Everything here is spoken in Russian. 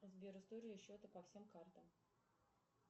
сбер истории счета по всем картам